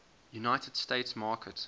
united states market